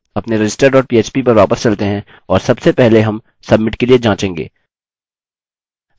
अपने register dot php पर वापस चलते हैं और सबसे पहले हम submit के लिए जाँचेंगे